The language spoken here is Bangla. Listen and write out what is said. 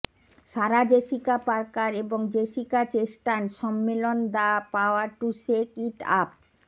সারা জেসিকা পার্কার এবং জেসিকা চেস্টান সম্মেলন the power to shake it up